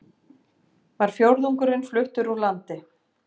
Var fjórðungurinn fluttur úr landi